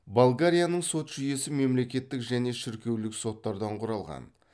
болгарияның сот жүйесі мемлекеттік және шіркеулік соттардан құралған